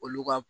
Olu ka